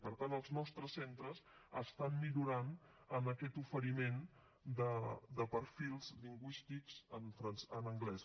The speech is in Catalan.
per tant els nostres centres estan millorant en aquest oferiment de perfils lingüístics en anglès